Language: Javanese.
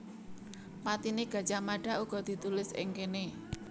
Patine Gajah Mada uga ditulis ing kene